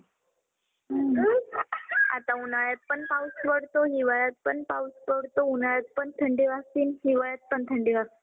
हम्म. आता उन्हाळ्यातपण पाऊस पडतो. हिवाळ्यातपण पाऊस पडतो. उन्हाळ्यातपण थंडी वाजती. हिवाळ्यातपण थंडी वाजती.